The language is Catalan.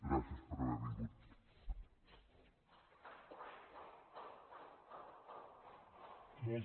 gràcies per haver vingut